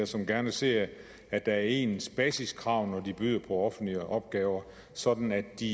som gerne ser at der er ens basiskrav når de byder på offentlige opgaver sådan at de